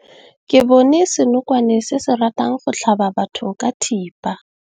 Re bone senokwane se se ratang go tlhaba batho ka thipa.